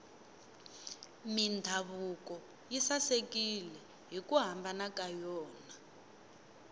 mindhavuko yi sasekile hiku hambana ka yona